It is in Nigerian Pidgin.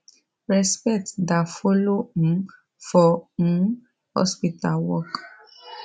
respect da follow um for um hospital work